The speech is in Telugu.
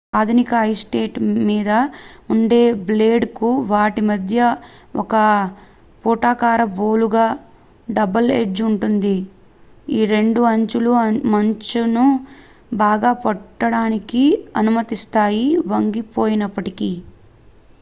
ఆధునిక ఐస్ స్కేట్ మీద ఉండే బ్లేడ్ కు వాటి మధ్య ఒక పుటాకార బోలుగా డబుల్ ఎడ్జ్ ఉంటుంది రెండు అంచులు మంచును బాగా పట్టడానికి అనుమతిస్తాయి వంగిపోయినప్పటికీ